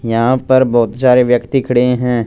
यहां पर बहुत सारे व्यक्ति खड़े हैं।